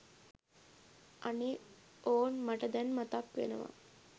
අනේ ඕන් මට දැන් මතක්වෙනවා!